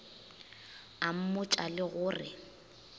a mmotša le go re